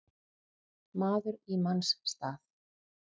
Maður í manns stað